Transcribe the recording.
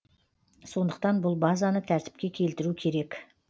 сондықтан бұл базаны тәртіпке келтіру керек